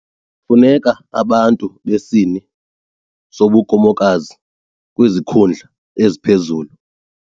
Kufuneka abantu besini sobukhomokazi kwizikhundla eziphezulu.